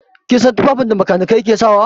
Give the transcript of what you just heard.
Kin san tufafin da makanikai suke saka wa?